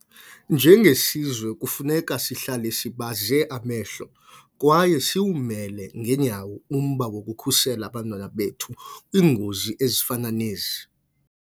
Njengesizwe, kufuneka sihlale sibaze amehlo kwaye siwumele ngeenyawo umba wokukhusela abantwana bethu kwiingozi ezifana nezi.